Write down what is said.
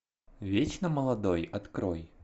вечно молодой открой